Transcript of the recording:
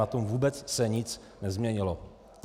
Na tom se vůbec nic nezměnilo.